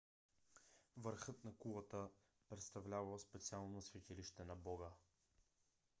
върхът на кулата представлявал специално светилище на бога